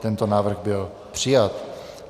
Tento návrh byl přijat.